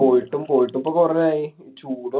പോയിട്ടും പോയിട്ടും ഇപ്പൊ കൊറേ ആയി. ചൂടോ~